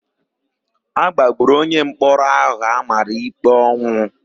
A gbagburu onyemkpọrọ áhụ̀ a mara íkpé ọnwụ.